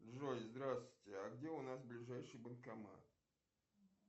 джой здравствуйте а где у нас ближайший банкомат